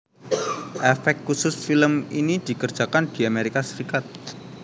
Efek khusus film ini dikerjakan di Amerika Serikat